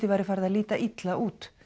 væri farið að líta illa út